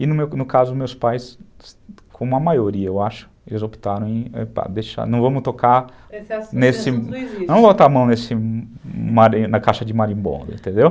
E no caso, meus pais, como a maioria, eu acho, eles optaram em... Não vamos tocar nesse... Não vamos botar a mão na caixa de marimbonda, entendeu?